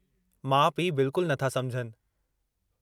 माउ पीउ बिल्कुलु नथा समुझनि।